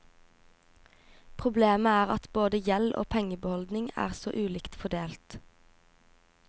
Problemet er at både gjeld og pengebeholdning er så ulikt fordelt.